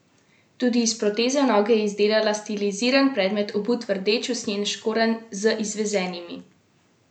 Tudi iz proteze noge je izdelala stiliziran predmet, obut v rdeč usnjen škorenj z izvezenimi rožami.